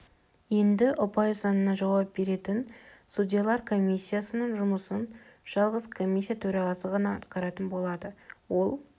енді ұпай санына жауап беретін судьялар комиссиясының жұмысын жалғыз комиссия төрағасы ғана атқаратын болады ол